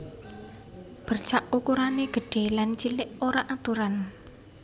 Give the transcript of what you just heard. Bercak ukuran gedhé lan cilik ora aturan